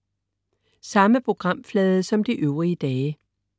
Samme programflade som de øvrige dage